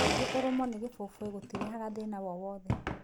Kaingĩ ũrũmo nĩ gĩboboĩ gũtirehaga thĩna wowothe.